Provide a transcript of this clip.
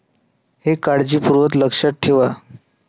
हे काळजीपूर्वक लक्षात ठेवा.